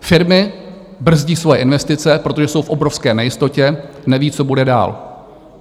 Firmy brzdí svoje investice, protože jsou v obrovské nejistotě, nevědí, co bude dál.